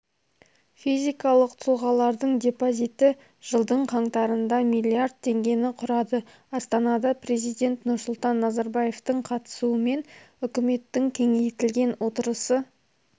физикалық тұлғалардың депозиті жылдың қаңтарында миллиард теңгені құрады астанада президент нұрсұлтан назарбаевтың қатысуымен үкіметтің кеңейтілген отырысы